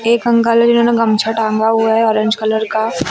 एक अंकल हैं जिन्होंने गमछा टांगा हुआ है ऑरेंज कलर का।